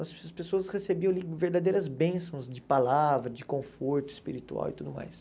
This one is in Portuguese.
As pessoas recebiam verdadeiras bênçãos de palavra, de conforto espiritual e tudo mais.